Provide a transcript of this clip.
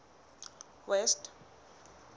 west